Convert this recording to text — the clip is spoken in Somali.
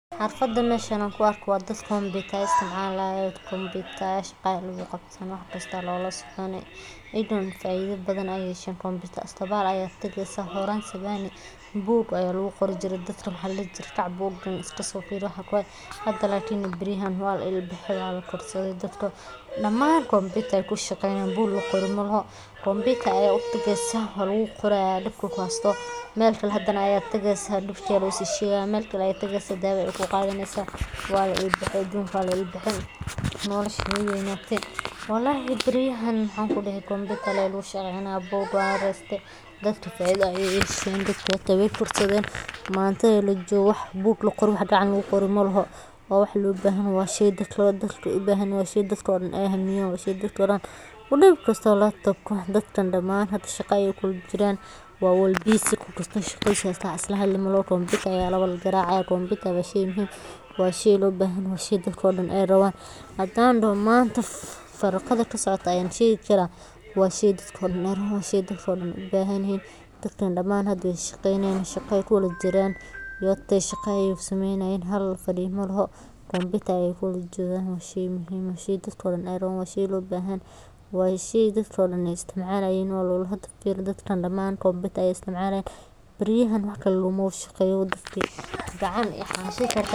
Barashada kombiyuutarka waa geedi-socod muhiim ah oo qofka u suurtagelinaya inuu fahmo sida qalabka elektaroonigga ah u shaqeeyo, isaga oo bartaya aqoonta aasaasiga ah sida adeegsiga barnaamijyada, waliba sida loo daalacdo internet-ka si waxtar leh, taasoo sare u qaadaysa xirfadaha shaqo, kobcinta aqoonta cilmi-baarista, iyo kor u qaadista isgaarsiinta casriga ah, waxaana muhiim ah in la barto qaybaha muhiimka ah sida hardware-ka oo ay kamid yihiin.